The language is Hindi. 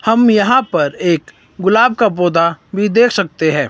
हम यहां पर एक गुलाब का पौधा भी देख सकते हैं।